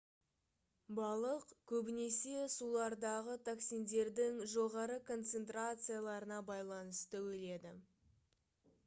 балық көбінесе сулардағы токсиндердің жоғары концентрацияларына байланысты өледі